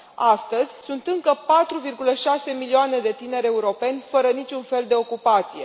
Astăzi mai sunt încă 4,6 milioane de tineri europeni fără niciun fel de ocupație.